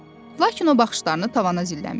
Lakin o baxışlarını tavana zilləmişdi.